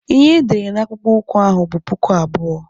Ihe edere na akpụkpọ ụkwụ ahụ bụ puku abụọ.